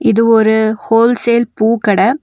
இது ஒரு wholesale பூ கட.